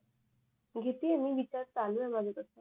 घेतीय मी विचार चालू आहे माझ तस